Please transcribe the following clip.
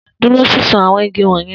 Duro sisun awọn igi wọnyẹn!